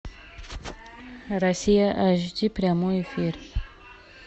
россия эйч ди прямой эфир